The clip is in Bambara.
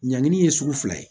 Ɲangini ye sugu fila ye